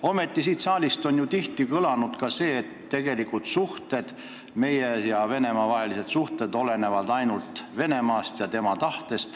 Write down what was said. Ometi on siit saalist ju tihti kõlanud ka see, et tegelikult meie ja Venemaa vahelised suhted olenevad ainult Venemaast ja tema tahtest.